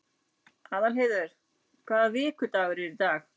Aðalheiður, hvaða vikudagur er í dag?